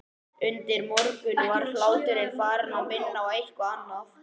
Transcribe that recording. Undir morgun var hláturinn farinn að minna á eitthvað annað.